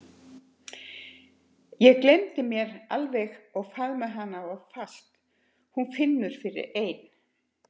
Ég gleymi mér alveg og faðma hana of fast: Hún finnur fyrir ein